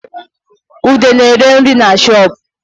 Ude na-ere nri na shoopu